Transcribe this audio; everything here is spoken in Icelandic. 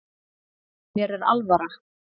Mér er alvara